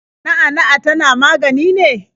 Na'a na'a tana magani ne?